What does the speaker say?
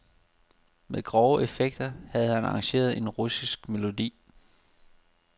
Med grove effekter havde han arrangeret en russisk melodi.